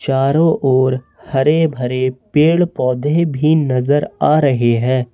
चारों ओर हरे भरे पेड़ पौधे भी नजर आ रहे हैं।